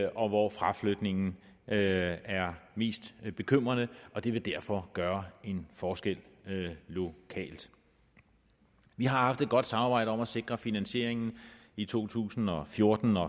og hvor fraflytningen er er mest bekymrende og det vil derfor gøre en forskel lokalt vi har haft et godt samarbejde om at sikre finansieringen i to tusind og fjorten og